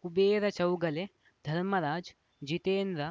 Kubera Chougale Dharmaraj Jitendra